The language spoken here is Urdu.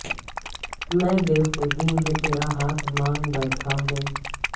میں بے خودی میں تیرا ہاتھ مانگ بیٹھا ہوں